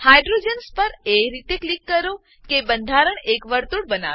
hydrogens હાઈડ્રોજનો પર એ રીતે ક્લિક કરો કે બંધારણ એક વર્તુળ બનાવે